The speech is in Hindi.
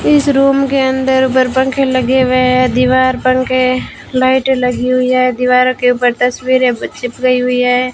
इस रूम के अंदर ऊपर पंखे लगे हुए हैं दीवार पंखे लाइटें लगी हुई है दीवारों के ऊपर तस्वीरें चिपकाई हुई है।